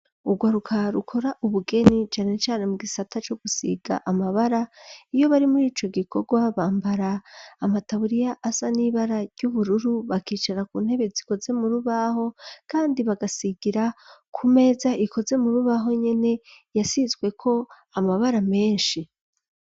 Urwaruka rukora ubugeni cane cane mu gisata co gusiga amabara, iyo bari muri ico gikorwa bambara amataburiya asa n'ibara ry'ubururu bakicara ku ntebe zikoze mu rubaho kandi bagasigira ku meza ikoze mu rubaho nyene yasizweko amabara menshi.